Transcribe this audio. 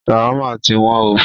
Ṣawama tí wọ́n o.